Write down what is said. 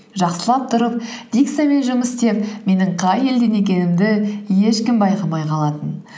жақсылап тұрып дикциямен жұмыс істеп менің қай елден екенімді ешкім байқамай қалатын